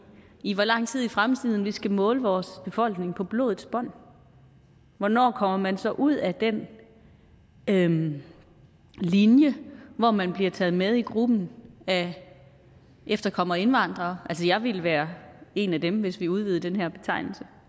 i hvor lang tid i fremtiden vi skal måle vores befolkning på blodets bånd hvornår kommer man så ud af den den linje hvor man bliver taget med i gruppen af efterkommere af indvandrere altså jeg ville være en af dem hvis vi udvidede den her betegnelse